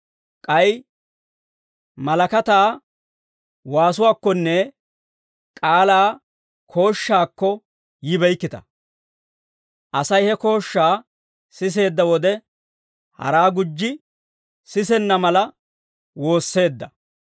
k'ay malakataa waasuwaakkonne k'aalaa kooshshaakko yibeykkita. Asay he kooshshaa siseedda wode, haraa gujji sisenna mala woosseedda.